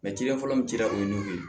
fɔlɔ min cira o ye n kun be